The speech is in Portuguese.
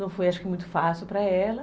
Não foi, acho que, muito fácil para ela.